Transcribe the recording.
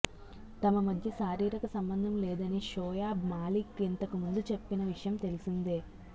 తమ మధ్య శారీరక సంబంధం లేదని షోయబ్ మాలిక్ ఇంతకు ముందు చెప్పిన విషయం తెలిసిందే